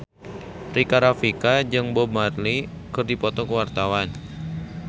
Rika Rafika jeung Bob Marley keur dipoto ku wartawan